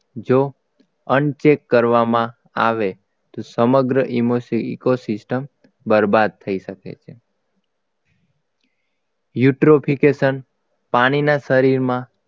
જો અન્ન check કરવામાં આવે તો સામગ્ર eco system બરબાદ થઈ શકે છે eutrophication પાણીના શરીરમાં